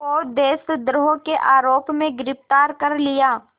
को देशद्रोह के आरोप में गिरफ़्तार कर लिया